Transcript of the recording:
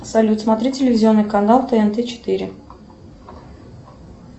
салют смотри телевизионный канал тнт четыре